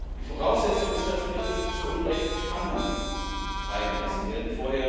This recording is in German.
Die Voraussetzung ist natürlich, dass die zu Unrecht Gefangenen freigelassen werden.